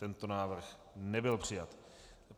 Tento návrh nebyl přijat.